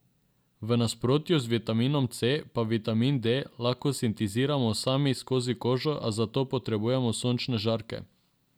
V nasprotju z vitaminom C pa vitamin D lahko sintetiziramo sami skozi kožo, a za to potrebujemo sončne žarke.